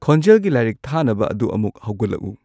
ꯈꯣꯟꯖꯦꯜꯒꯤ ꯂꯥꯏꯔꯤꯛ ꯊꯥꯅꯕ ꯑꯗꯨ ꯑꯃꯨꯛ ꯍꯧꯒꯠꯂꯛꯎ